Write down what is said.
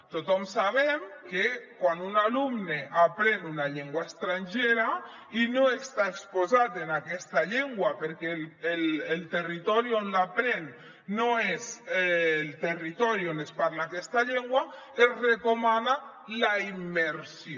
tothom sabem que quan un alumne aprèn una llengua estrangera i no està exposat a aquesta llengua perquè el territori on l’aprèn no és el territori on es parla aquesta llengua es recomana la immersió